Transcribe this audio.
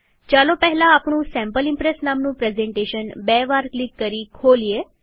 ચાલો પહેલા આપણું સેમ્પલ ઈમ્પ્રેસ નામનું પ્રેઝન્ટેશન બે વાર ક્લિક કરી ખોલીએ